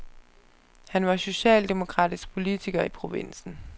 Han var socialdemokratisk politiker i provinsen.